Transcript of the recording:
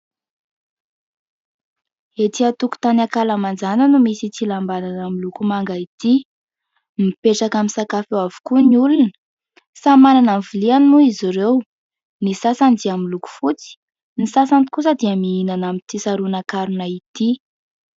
Etỳ an-tokotany ankalamanjana no misy ity lambanana miloko manga ity. Mipetraka misakafo eo avokoa ny olona, samy manana ny loviany moa izy ireo. Ny sasany dia miloko fotsy ny sasany kosa dia mihinana amin'ity saronan-karona ity.